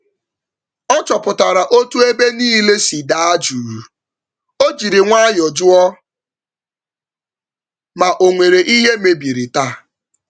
Ọ chọpụtara otú ébé nílé si daa jụụ, ojiri nwayọ jụọ ma onwere ìhè mebiri taa